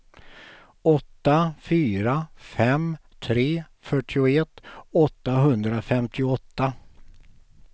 åtta fyra fem tre fyrtioett åttahundrafemtioåtta